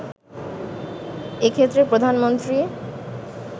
এক্ষেত্রে প্রধানমন্ত্রী